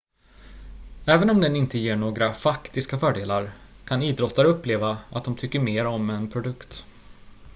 även om den inte ger några faktiska fördelar kan idrottare uppleva att de tycker mer om en produkt